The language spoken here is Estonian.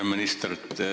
Hea minister!